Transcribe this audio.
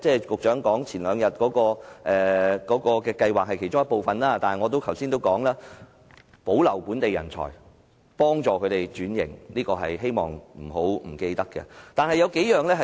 局長前兩天提出的計劃固然是其中一部分，但我剛才也說過，政府也要保留本地人才，幫助他們轉型，我希望政府千萬不要忘記。